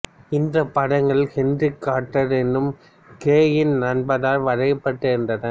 இந்த படங்கள் Henry Carter எனும் கிரேயின் நண்பரால் வரையப்பட்டு இருந்தன